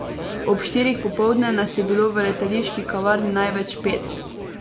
Ob štirih popoldne nas je bilo v letališki kavarni največ pet.